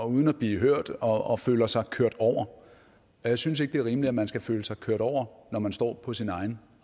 uden at blive hørt og føler sig kørt over og jeg synes ikke det er rimeligt at man skal føle sig kørt over når man står på sin egen